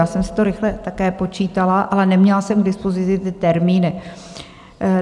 Já jsem si to rychle také počítala, ale neměla jsem k dispozici ty termíny.